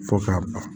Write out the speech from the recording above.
Fo k'a ban